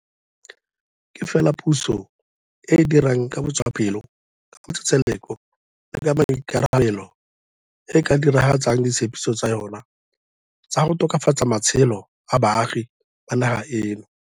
Ke fela puso e e dirang ka botswapelo, ka matsetseleko le ka maikarabelo e e ka diragatsang ditshepiso tsa yona tsa go tokafatsa matshelo a baagi ba naga eno.